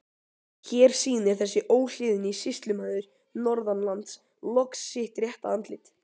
Hér sýnir þessi óhlýðni sýslumaður norðanlands loks sitt rétta andlit!